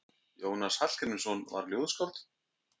Jónas Hallgrímsson var ljóðskáld.